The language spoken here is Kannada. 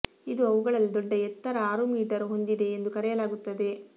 ಇದು ಅವುಗಳಲ್ಲಿ ದೊಡ್ಡ ಎತ್ತರ ಆರು ಮೀಟರ್ ಹೊಂದಿದೆ ಎಂದು ಕರೆಯಲಾಗುತ್ತದೆ